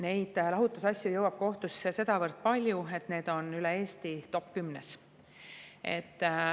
Neid lahutusasju jõuab kohtusse sedavõrd palju, et need on üle Eesti top 10‑s.